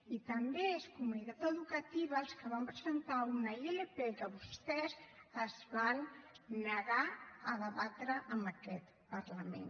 i també és comunitat educativa els que vam presentar una ilp que vostès es van negar a debatre en aquest parlament